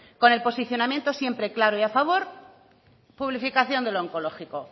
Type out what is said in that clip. con el posicionamiento siempre claro y a favor publificación del onkologiko